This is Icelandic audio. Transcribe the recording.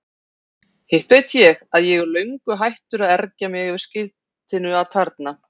Hitt veit ég að ég er löngu hættur að ergja mig yfir skiltinu atarna.